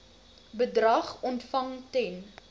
bedrag ontvang ten